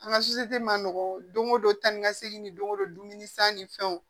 An ka ma nɔgɔ don o don tan ni ka segin ni don ko don dumuni san ni fɛnw